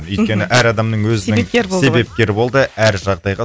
мхм өйткені әр адамның өзі себепкер болды ғой себепкер болды әр жағдайға